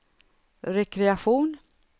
rekreation